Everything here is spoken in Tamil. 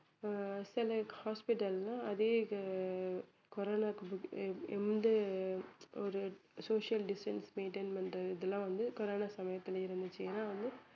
ஆஹ் சில hospital ல அதே இது அஹ் கொரோனாவுக்கு ஒரு social distance maintain பண்றது இதெல்லாம் வந்து கொரோனா சமயத்துல இருந்துச்சு ஏன்னா வந்து